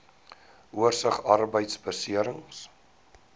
oorsig arbeidbeserings